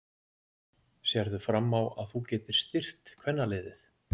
Sérðu fram á að þú getir styrkt kvennaliðið?